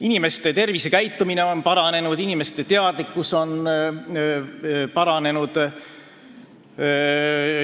Inimeste tervisekäitumine ja nende teadlikkus on paranenud.